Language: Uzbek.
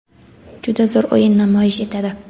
juda zo‘r o‘yin namoyish etadi.